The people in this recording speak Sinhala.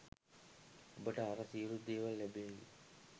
ඔබට අර සියලු දේවල් ලැබේවි.